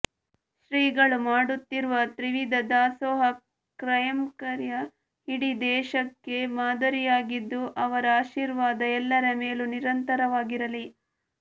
ಶ್ರೀಗಳು ಮಾಡುತ್ತಿರುವ ತ್ರಿವಿಧ ದಾಸೋಹ ಕೈಂಕರ್ಯ ಇಡೀ ದೇಶಕ್ಕೆ ಮಾದರಿಯಾಗಿದ್ದು ಅವರ ಆಶೀರ್ವಾದ ಎಲ್ಲರ ಮೇಲೂ ನಿರಂತರವಾಗಿರಲಿ